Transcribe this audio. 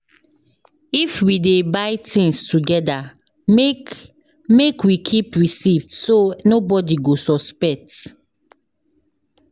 If we dey buy things together, make make we keep receipt so nobody go suspect.